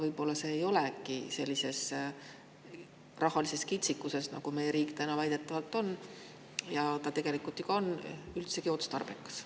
Võib-olla see ei ole sellises rahalises kitsikuses, kus meie riik täna väidetavalt on ja ka tegelikult ju on, üldsegi otstarbekas?